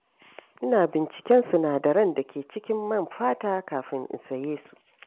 Ina binciken sinadaran da ke cikin man fata kafin in saye su.